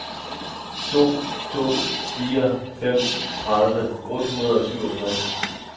to to fire fem tredive otte hundrede og syvogtres